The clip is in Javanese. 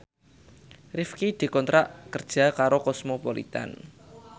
Rifqi dikontrak kerja karo Cosmopolitan